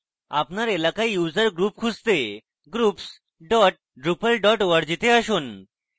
আপনার এলাকায় user group খুঁজতে groups dot drupal dot org to আসুন